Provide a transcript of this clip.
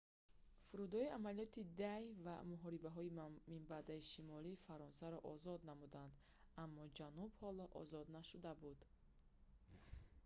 фурудоии амалиёти «d-day» ва муҳорибаҳои минбаъда шимоли фаронсаро озод намуданд аммо ҷануб ҳоло озод нашуда буд